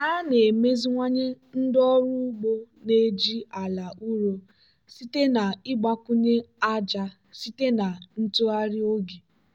a na-emeziwanye ndị ọrụ ugbo na-eji ala ụrọ site na ịgbakwụnye ájá site na ntụgharị oge.